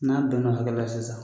N'an bɛn na o hakɛ la sisan